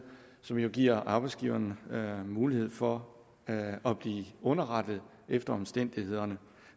som jo giver arbejdsgiverne mulighed for at blive underrettet efter omstændighederne